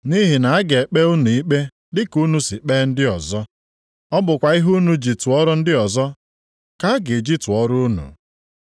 Nʼihi na a ga-ekpe unu ikpe dịka unu si kpee ndị ọzọ. Ọ bụkwa ihe unu ji tụọrọ ndị ọzọ ka a ga-eji tụọrọ unu.